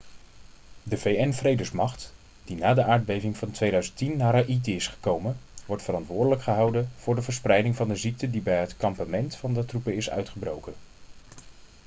de vn-vredesmacht die na de aardbeving van 2010 naar haïti is gekomen wordt verantwoordelijk gehouden voor de verspreiding van de ziekte die bij het kampement van de troepen is uitgebroken